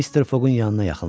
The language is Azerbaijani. Mr. Foqun yanına yaxınlaşdı.